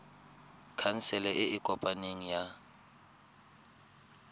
khansele e e kopaneng ya